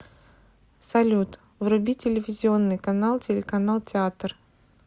салют вруби телевизионный канал телеканал театр